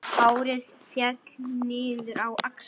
Hárið féll niður á axlir.